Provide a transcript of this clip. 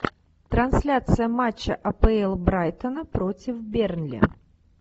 трансляция матча апл брайтона против бернли